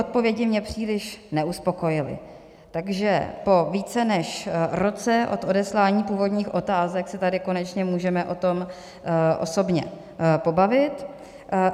Odpovědi mě příliš neuspokojily, takže po více než roce od odeslání původních otázek se tady konečně můžeme o tom osobně pobavit.